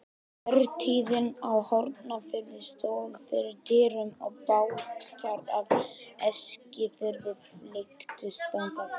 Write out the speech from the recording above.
Vertíðin á Hornafirði stóð fyrir dyrum og bátar af Eskifirði flykktust þangað.